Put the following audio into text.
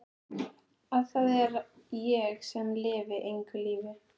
Að það er ég sem lifi engu lífi.